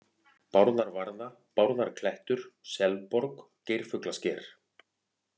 Bárðarvarða, Bárðarklettur, Selborg, Geirfuglasker